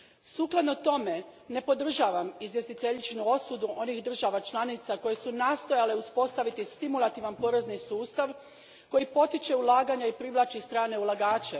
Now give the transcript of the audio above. Sukladno tome ne podržavam izvjestiteljičinu osudu onih država članica koje su nastojale uspostaviti stimulativan porezni sustav koji potiče ulaganja i privlači strane ulagače.